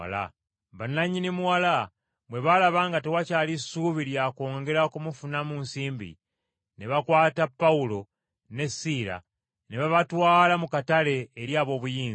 Bannannyini muwala bwe baalaba nga tewakyali ssuubi lya kwongera kumufunamu nsimbi, ne bakwata Pawulo ne Siira ne babatwala mu katale eri ab’obuyinza.